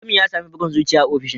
Mutumin ya sami bugun zuciya a ofishin